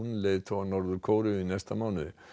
un leiðtoga Norður Kóreu í næsta mánuði